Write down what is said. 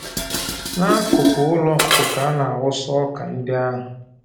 N'akụkụ ụlọ ọkụkọ ka ana-awụsa ọkà ndị ahụ.